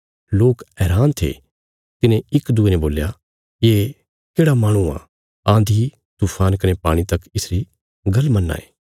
ये देकखीने चेले हैरान थे तिन्हें इक दूये ने बोल्या ये केढ़ा माहणु आ आन्धी तूफान कने पाणी तक इसरी गल्ल मन्नां ये